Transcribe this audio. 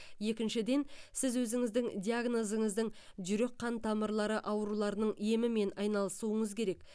екіншіден сіз өзіңіздің диагнозыңыздың жүрек қан тамырлары ауруларының емімен айналысуыңыз керек